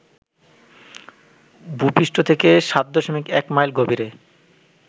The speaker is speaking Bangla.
ভূপৃষ্ঠ থেকে ৭.১ মাইল গভীরে